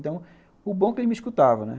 Então, o bom é que ele me escutava, né?